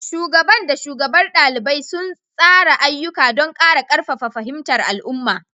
Shugaban da shugabar ɗaliban suna tsara ayyuka don ƙara ƙarfafa fahimtar al'umma.